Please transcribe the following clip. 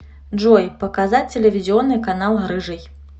джой показать телевизионный канал рыжий